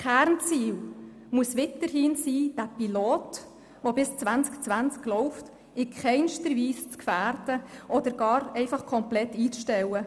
Kernziel muss es weiterhin sein, das Pilotprogramm, das bis ins Jahr 2020 läuft, in keiner Weise zu gefährden oder gar komplett einzustellen.